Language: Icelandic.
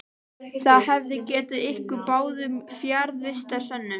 Það hefði gefið ykkur báðum fjarvistarsönnun.